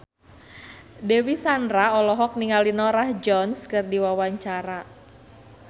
Dewi Sandra olohok ningali Norah Jones keur diwawancara